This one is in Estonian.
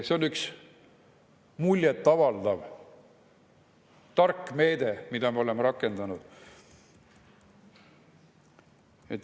See on üks muljetavaldav tark meede, mida me oleme rakendanud.